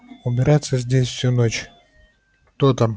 убираться здесь всю ночь кто там